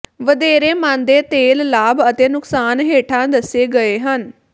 ਵਧੇਰੇ ਮਣਦੇ ਤੇਲ ਲਾਭ ਅਤੇ ਨੁਕਸਾਨ ਹੇਠਾਂ ਦੱਸੇ ਗਏ ਹਨ